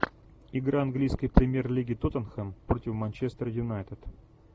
игра английской премьер лиги тоттенхэм против манчестер юнайтед